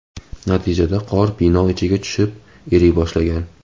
Natijada qor bino ichiga tushib, eriy boshlagan.